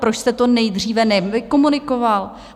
Proč jste to nejdříve nekomunikoval?